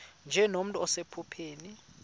nje nomntu osephupheni